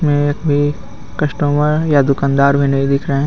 में एक भी कस्टमर या दुकानदार भी नहीं दिख रहे हे.